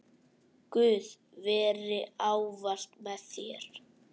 Guð veri ávallt með þér.